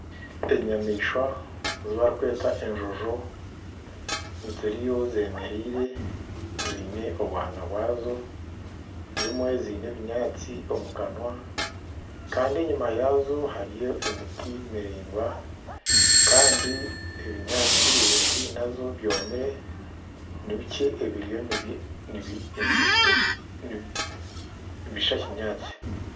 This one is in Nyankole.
Enyamaishwa ezi barikweta enjojo ziriyo zemereire ziine obwana bwazo ezimwe ziine obunyatsi omu kanwa Kandi enyuma yaazo hariyo emiti miraingwa Kandi ebinyaatsi ebiri haihi nazo byomire nibikye nibishusha kinyaatsi